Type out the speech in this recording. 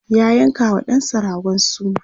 ya yanka wa ɗansa ragon suna